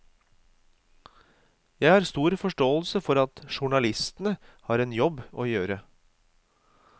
Jeg har stor forståelse for at journalistene har en jobb å gjøre.